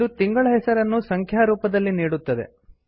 ಇದು ತಿಂಗಳ ಹೆಸರನ್ನು ಸಂಖ್ಯಾ ರೂಪದಲ್ಲಿ ನೀಡುತ್ತದೆ